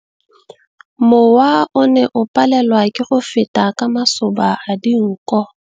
Mowa o ne o palelwa ke go feta ka masoba a dinko.